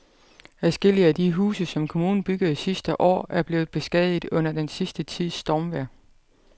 Adskillige af de huse, som kommunen byggede sidste år, er blevet beskadiget under den sidste tids stormvejr.